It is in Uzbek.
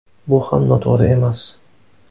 Bu ham noto‘g‘ri emas.